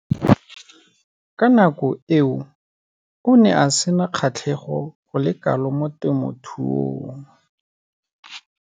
Mo nakong eo o ne a sena kgatlhego go le kalo mo temothuong.